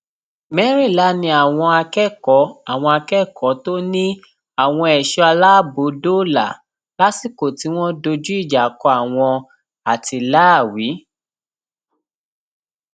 mẹrìnlá ni àwọn akẹkọọ àwọn akẹkọọ tó ní àwọn ẹṣọ aláàbọ dóòlà lásìkò tí wọn dojú ìjà kọ àwọn àtìláàwí